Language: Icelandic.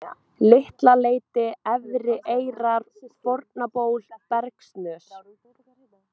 Litla-Leiti, Efrieyrar, Fornaból, Bergssnös